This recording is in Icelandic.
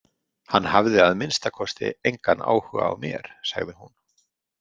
Hann hafði að minnsta kosti engan áhuga á mér, sagði hún.